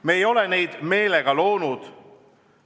Me ei ole neid meelega loonud.